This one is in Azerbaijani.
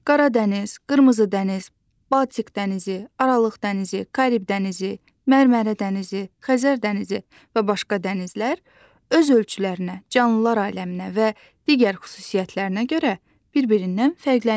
Qara dəniz, qırmızı dəniz, Baltik dənizi, Aralıq dənizi, Karib dənizi, Mərmərə dənizi, Xəzər dənizi və başqa dənizlər öz ölçülərinə, canlılar aləminə və digər xüsusiyyətlərinə görə bir-birindən fərqlənirlər.